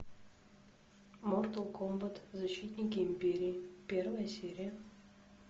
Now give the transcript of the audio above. мортал комбат защитники империи первая серия